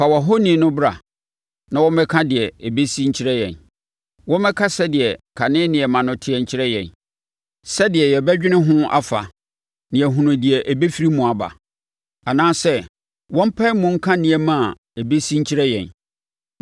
“Fa wʼahoni no bra na wɔmmɛka deɛ ɛbɛsi nkyerɛ yɛn. Wɔmmɛka sɛdeɛ na kane nneɛma no teɛ nkyerɛ yɛn, sɛdeɛ yɛbɛdwene ho afa na yɛahunu deɛ ɛbɛfiri mu aba. Anaa sɛ wɔmpae mu nka nneɛma a ɛbɛsi nkyerɛ yɛn.